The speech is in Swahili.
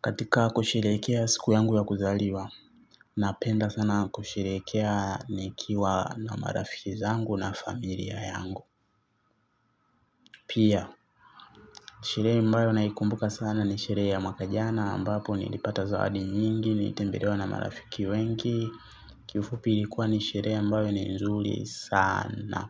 Katika kusherekea siku yangu ya kuzaliwa napenda sana kusherekea nikiwa na marafiki zangu na familia yangu. Pia sherehe mbayo naikumbuka sana ni sherehe ya mwaka jana ambapo nilipata zawadi nyingi, nilitembelewa na marafiki wengi. Kifupi ilikuwa ni sherehe ambayo ni nzuri sana.